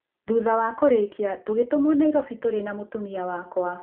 Thutha wa kũrĩkia, tũgĩtũmwo Nairobi tũrĩ na mũtumia wakwa.